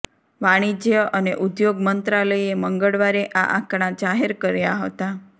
વાણિજ્ય અને ઉદ્યોગ મંત્રાલયે મંગળવારે આ આંકડા જાહેરકર્યા હતા